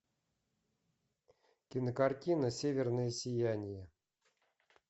кинокартина северное сияние